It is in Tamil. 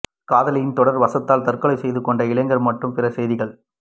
காதலியின் தொடர் வசவுகளால் தற்கொலை செய்து கொண்ட இளைஞர் மற்றும் பிற செய்திகள்